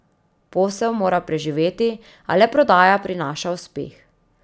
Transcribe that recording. Posel mora preživeti, a le prodaja prinaša uspeh.